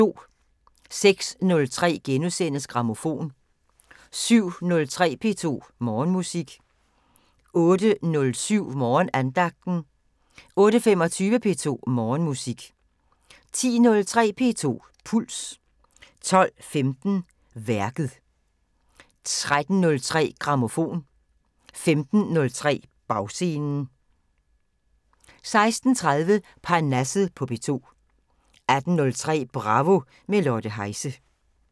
06:03: Grammofon * 07:03: P2 Morgenmusik 08:07: Morgenandagten 08:25: P2 Morgenmusik 10:03: P2 Puls 12:15: Værket 13:03: Grammofon 15:03: Bagscenen 16:30: Parnasset på P2 18:03: Bravo – med Lotte Heise